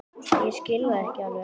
Ég skil þetta ekki alveg.